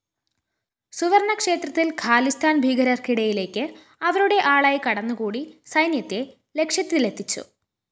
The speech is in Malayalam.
സുവര്‍ണക്ഷേത്രത്തില്‍ ഖാലിസ്ഥാന്‍ ഭീകരര്‍ക്കിടയിലേക്ക് അവരുടെ ആളായി കടന്നുകൂടി സൈന്യത്തെ ലക്ഷ്യത്തിലെത്തിച്ചു